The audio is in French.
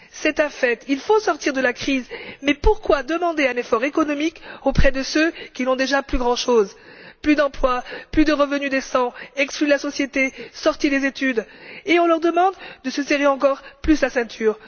C'est un fait, il faut sortir de la crise, mais pourquoi demander un effort économique à ceux qui n'ont déjà plus grand chose, plus d'emploi, plus de revenu décent, qui sont exclus de la société, sortis des études? Et on leur demande de se serrer encore plus la ceinture.